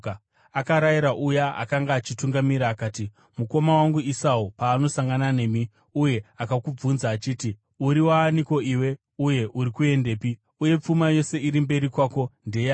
Akarayira uya akanga achitungamirira akati, “Mukoma wangu Esau paanosangana nemi uye akakubvunza achiti, ‘Uri waaniko iwe, uye uri kuendepi, uye pfuma yose iri mberi kwako ndeyani?’